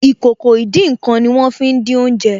Ìkòkò ìdín-nǹkan ní wọ́n fí n dín oúnjẹ